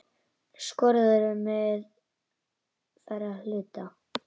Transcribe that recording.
Skorður á meðferð hluta.